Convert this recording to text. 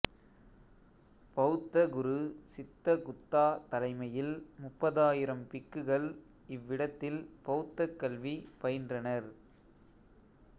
பௌத்த குரு சித்தகுத்தா தலைமையில் முப்பதாயிரம் பிக்குகள் இவ்விடத்தில் பௌத்தக் கல்வி பயின்றனர்